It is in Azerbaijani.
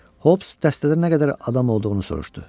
Hobs dəstədə nə qədər adam olduğunu soruşdu.